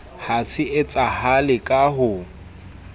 ha se etsahale ka ho